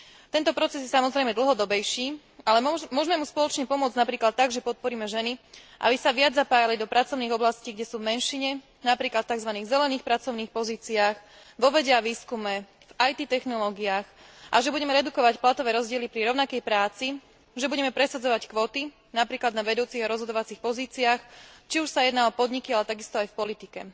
Tento proces je samozrejme dlhodobejší, ale môžme mu spoločne pomôcť napríklad tak, že podporíme ženy, aby sa viac zapájali do pracovných oblastí, kde sú v menšine, napríklad v tzv. zelených pracovných pozíciách, vo vede a výskume, v IT technológiách, a že budeme redukovať platové rozdiely pri rovnakej práci, že budeme presadzovať kvóty, napríklad na vedúcich a rozhodovacích pozíciách, či už ide o podniky, ale takisto aj v politike.